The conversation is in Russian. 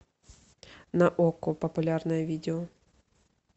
на окко популярное видео